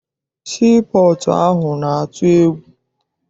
Sii pọọtụ ahụ na-atụ egwu.